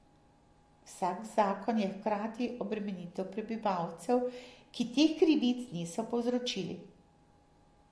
Vsak zakon je hkrati obremenitev prebivalcev, ki teh krivic niso povzročili.